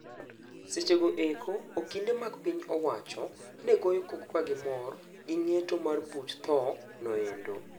Sechego eko okinde mag piny owacho, negoyo koko ka gimor gi ng'eto mar buch thoo no endo.